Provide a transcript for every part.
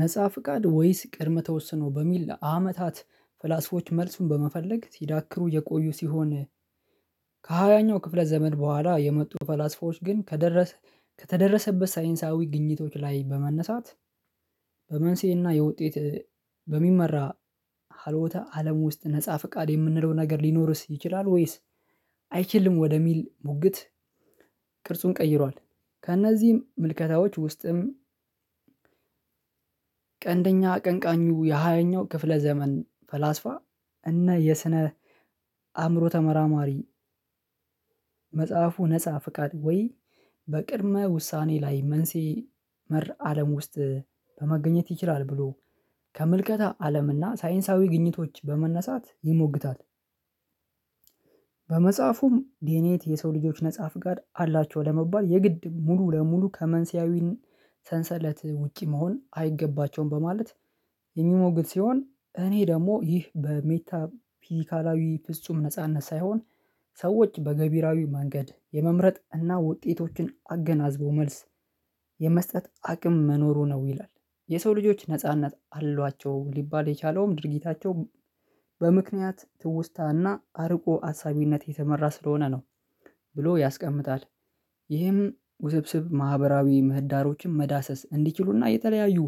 ነፃ ፍቃድ ወይስ ቅድም ተወስኖ በሚል አመታት ፍላስፎች መልሱን በመፈለግ ሲዳክሩ የቆዩ ሲሆን ከሃያኛው ክፍለ ዘመን ቦኋላ የመጡ ፈላስፎች ግን ከተደረሰ ከተደረሰበት ሳይንሳዊ ግኝቶች ላይ በመነሳት በመንስኤና የውጤት በሚመራ ሀሎተ አለም ውስጥ ነፃ ፍቃድ የምንለው ነገር ሊኖርስ ይችላል ወይስ አይችልም ወደሚል ሙግት ቅርጹን ቀይሯል ከእነዚህም ምልከታዎች ውስጥም ቀንደኛ ቀንቃኙ የሃያኛው ክፍለ ዘመን ፈላስፋ እና የስነ አእምሮ ተመራማሪ መጽሐፉ ነፃ ፍቃድ ወይ በቅድመ ውሳኔ ላይ መንሴ መር አለም ውስጥ በመገኘት ይችላል ብሎ ከመልከታ አለምና ሳይንሳዊ ግኝቶች በመነሳት ይሞግታል። በመጽሐፉም ዲኤንኤት የሰው ልጆች ነፃ ፍቃድ አላቸው ለመባል የግድ ሙሉ ለሙሉ ከመንስኤያዊን ሰንሰለት ውጪ መሆን አይገባቸውም በማለት የሚሞግል ሲሆን እኔ ደግሞ ይህ በሜታ ፊዚካላዊ ፍጹም ነጻነት ሳይሆን ሰዎች በገቢራዊ መንገድ የመምረጥ እና ውጤቶችን አገናዝቦ መልስ የመስጠት አቅም መኖሩ ነው ይላል የሰው ልጆች ነጻነት አሏቸው ሊባል የቻለውም ድርጊታቸው በምክንያት ትውስታና አርቆ አሳቢነት የተመራ ስለሆነ ነው ብሎ ያስቀምጣል ይህም ውስብስብ ማህበራዊ ምህዳሮችን መዳሰስ እንዲችሉና የተለያዩ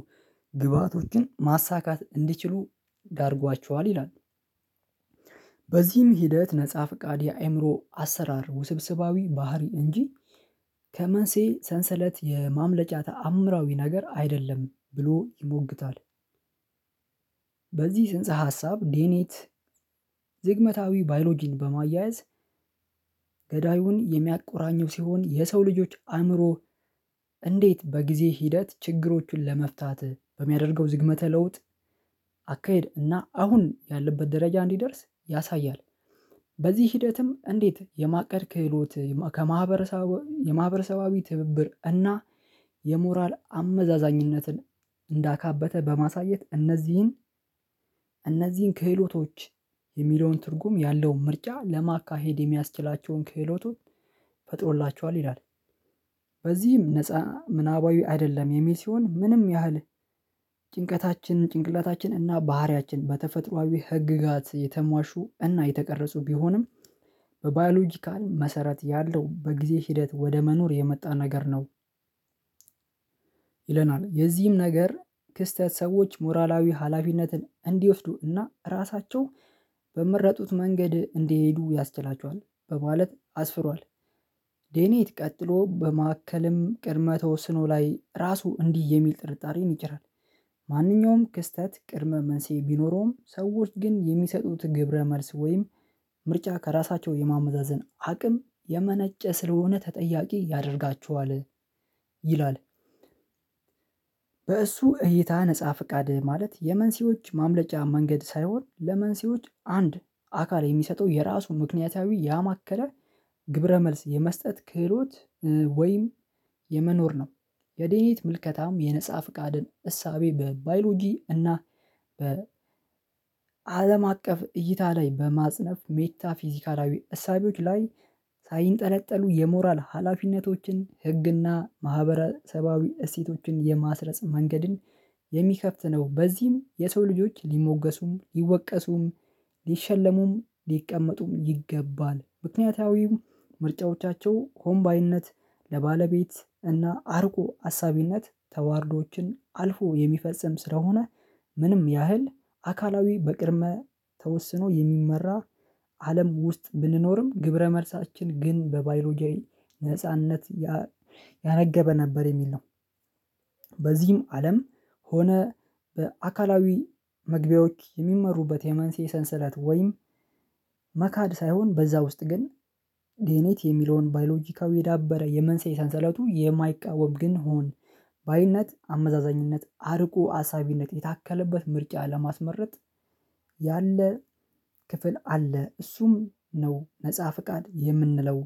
ግብአቶችን ማሳካት እንዲችሉ ዳርጓቸዋል ይላል። በዚህም ሂደት ነፃ ፍቃድ የአእምሮ አሰራር ውስብስባዊ ባህሪ እንጂ ከመንሴ ሰንሰለት የማምለጫ ተአምራዊ ነገር አይደለም ብሎ ይሞግታል። በዚህ ጽንሰ ሀሳብ ዴኔት ዝግመታዊ ባዮሎጂን በማያያዝ ገዳዩን የሚያቆራኘው ሲሆን የሰው ልጆች አእምሮ እንዴት በጊዜ ሂደት ችግሮቹን ለመፍታት በሚያደርገው ዝግመተ ለውጥ አካሄድ እና አሁን ያለበት ደረጃ እንዲደርስ ያሳያል በዚህ ሂደትም እንዴት የማቀድ ክህሎት ከማህበረሰባዊ ትብብር እና የሞራል አመዛዛኝነትን እንዳካበተ በማሳየት እነዚህን ክህሎቶች የሚለውን ትርጉም ያለውን ምርጫ ለማካሄድ የሚያስችላቸውን ክህሎቶች ፈጥሮላቸዋል ይላል። በዚህም ነፃ ምናባዊ አይደለም የሚል ሲሆን ምንም ያህል ጭንቀታችን ጭንቅላታችን እና ባህሪያችን በተፈጥሮአዊ ህግጋት የተሟሹ እና የተቀረጹ ቢሆንም በባዮሎጂካል መሰረት ያለው በጊዜ ሂደት ወደ መኖር የመጣ ነገር ነው። ይለናል የዚህም ነገር ክስተት ሰዎች ሞራላዊ ሀላፊነትን እንዲወስዱ እና አራሳቸው በመረጡት መንገድ እንዲሄዱ ያስችላቸዋል በማለት አስፍሯል ዴኔት ቀጥሎ በማከልም ቅድመ ተወስኖ ላይ ራሱ እንዲህ የሚል ጥርጣሬን ይጭራል። ማንኛውም ክስተት ቅድመ መንስዔ ቢኖረውም ሰዎች ግን የሚሰጡት ግብረ መልስ ወይም ምርጫ ከራሳቸው የማመዛዘን አቅም የመነጨ ስለሆነ ተጠያቂ ያደርጋቸዋል ይላል በእሱ እይታ ነፃ ፍቃድ ማለት የመንሲዎች ማምለጫ መንገድ ሳይሆን ለመንስኤዎች አንድ አካል የሚሰጠው የራሱን ምክንያታዊ ያማከለ ግብረ መልስ የመስጠት ክህሎት ወይም የመኖር ነው የድኔት ምልከታም የነፃ ፍቃድን እሳቤ በባዮሎጂ እና በ አለም አቀፍ እይታ ላይ በማጽነፍ ሜታ ፊዚካላዊ እሳቤዎች ላይ ሳይንጠነጠሉ የሞራል ሀላፊነቶችን ህግና ማህበራዊ እሴቶችን የማስረጽ መንገድን የሚከፍት ነው በዚህም የሰው ልጆች ሊሞገሱም ይወቀሱም ሊሸለሙም ሊቀመጡም ይገባል ምክንያታዊው ምርጫዎቻቸው ሆንባይነት ለባለቤት እና አርቆ አሳቢነት ተዋርዶዎችን አልፎ የሚፈጽም ስለሆነ ምንም ያህል አካላዊ በቅርመ ተወስኖ የሚመራ አለም ውስጥ ብንኖርም ግብረ መልሳችን ግን በባዮሎጂያዊ ነጻነት ያነገበ ነበር የሚል ነው። በዚህም አለም ሆነ በአካላዊ መግቢያዎች የሚመሩበት የመንስኤ ሰንሰለት ወይም መካድ ሳይሆን በዛ ውስጥ ግን ዲኤኔት የሚለውን ባዮሎጂካዊ የዳበረ የመንሳይ ሰንሰለቱ የማይቃወም ግን ሁን ባይነት አመዛዛኝነት አርቆ አሳቢነት የታከለበት ምርጫ ለማስመረጥ ያለ ክፍል አለ እሱም ነው ነፃ ፊቃድ የምንለው።